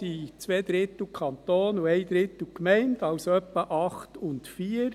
sind zwei Drittel Kanton und ein Drittel Gemeinde, also etwa 8 und 4.